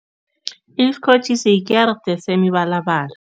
Isikotjhi sikerde semibalabala.